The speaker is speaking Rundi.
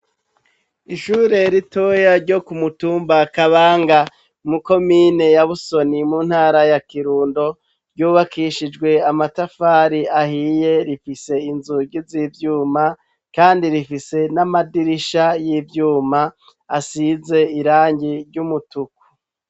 Ishure ritoya ryo kumutumba akabanga muko mine ya busoni mu ntara ya kirundo ryubakishijwe amatafari ahiye rifise inzugi z'ivyuma, kandi rifise n'amadirisha y'ivyuma asize irangi ry'umutuku.